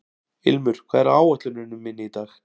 Ilmur, hvað er á áætluninni minni í dag?